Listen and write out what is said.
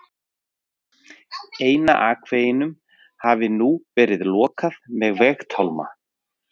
Eina akveginum hafi nú verið lokað með vegatálma.